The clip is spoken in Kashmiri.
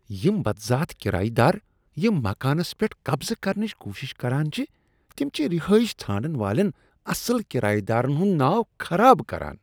یِم بدذات کرایہ دار یم مکانس پیٹھ قبضہ کرنٕچ کوشش کران چھ تم چھ رِہٲیش ژھانڈن والین اصل کرایہ دارن ہٗند ناو خراب کران ۔